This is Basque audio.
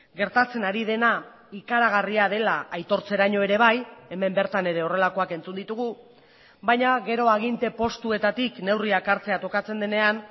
gertatzen ari dena ikaragarria dela aitortzeraino ere bai hemen bertan ere horrelakoak entzun ditugu baina gero aginte postuetatik neurriak hartzea tokatzen denean